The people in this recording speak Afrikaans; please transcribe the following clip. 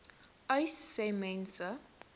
uys sê mense